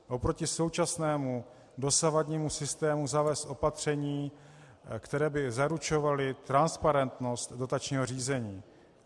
Proti současnému, dosavadnímu systému zavést opatření, která by zaručovala transparentnost dotačního řízení.